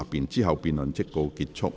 之後辯論即告結束。